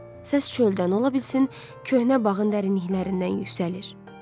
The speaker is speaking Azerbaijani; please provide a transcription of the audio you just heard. Səs çöldən ola bilsin köhnə bağın dərinliklərindən yüksəlir.